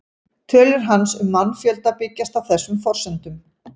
Tölur hans um mannfjölda byggjast á þessum forsendum.